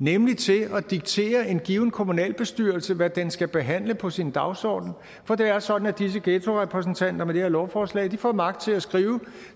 nemlig til at diktere en given kommunalbestyrelse hvad den skal behandle på sin dagsorden for det er sådan at disse ghettorepræsentanter med det her lovforslag får magt til at skrive